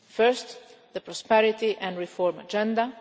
First, the prosperity and reform agenda